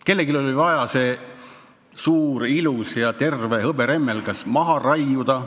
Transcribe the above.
Kellelgi oli vaja see suur, ilus ja terve hõberemmelgas maha raiuda.